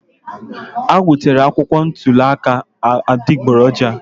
Ha wetara akwụkwọ ntuli aka adịgboroja.